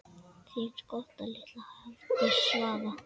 Þín skotta litla, Hafdís Svava.